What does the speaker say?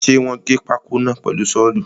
Ṣe wọ́n gé pákó náà pẹ̀lu sọ́ọ̀lù?